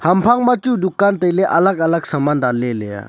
ham hang ma chu dukan taile alag alag saman danle leya.